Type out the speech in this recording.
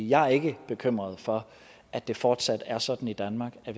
jeg er ikke bekymret for at det fortsat er sådan i danmark at